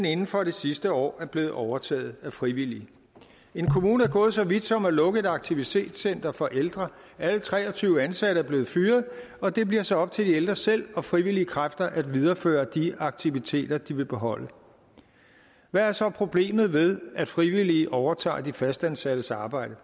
inden for det sidste år er blevet overtaget af frivillige en kommune er gået så vidt som at lukke et aktivitetscenter for ældre alle tre og tyve ansatte er blevet fyret og det bliver så op til de ældre selv og frivillige kræfter at videreføre de aktiviteter de vil beholde hvad er så problemet ved at frivillige overtager de fastansattes arbejde